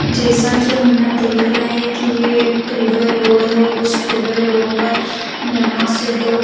जैसा की हम यहाँ देख रहे है की यह एक टू वे रोड है और इस टू वे रोड पर यहा से दो--